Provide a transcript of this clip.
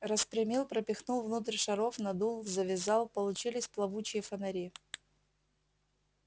распрямил пропихнул внутрь шаров надул завязал получились плавучие фонари